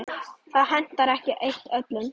Það hentar ekki eitt öllum.